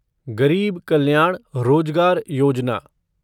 गरीब कल्याण रोजगार योजना